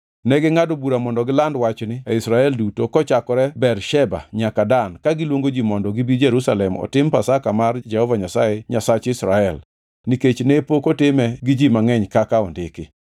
Negingʼado bura mondo giland wachni e Israel duto kochakore Bersheba nyaka Dan kagiluongo ji mondo gibi Jerusalem otim Pasaka mar Jehova Nyasaye Nyasach Israel nikech ne pok otime gi ji mangʼeny kaka ondiki.